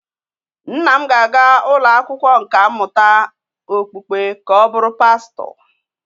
Nna m na-aga ụlọ akwụkwọ nkà mmụta okpukpe ka ọ bụrụ pastọ